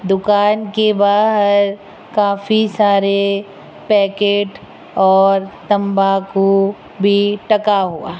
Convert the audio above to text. दुकान के बाहर काफी सारे पैकेट और तंबाकू भी टांगा हुआ --